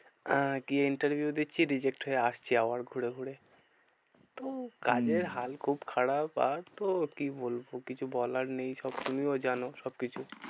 আহ গিয়ে interview দিচ্ছি reject হয়ে আসছি আবার ঘুরে ঘুরে। তো কি কাজের হাল খুব খারাপ আর তো কি বলবো? কিছু বলার নেই সব তুমিও জানো সবকিছু।